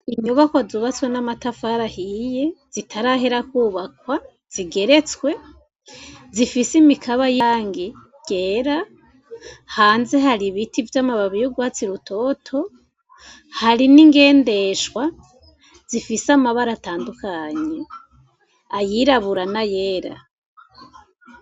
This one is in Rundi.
Inyubako zubatswe n'amatafaraahiye zitarahera kwubakwa zigeretswe zifise imikaba y'angi rera hanze hari ibiti vy'amababiyugwatsi rutoto hari n'ingendeshwa zifise amabara atandukanye ayirabura na yewe a.